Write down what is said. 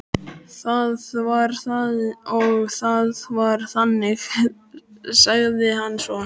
Það var það og það var þannig, sagði hann svo.